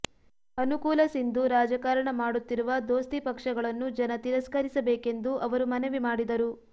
ಅನುಕೂಲಸಿಂಧು ರಾಜಕಾರಣ ಮಾಡುತ್ತಿರುವ ದೋಸ್ತಿ ಪಕ್ಷಗಳನ್ನು ಜನ ತಿರಸ್ಕರಿಸಬೇಕೆಂದು ಅವರು ಮನವಿ ಮಾಡಿದರು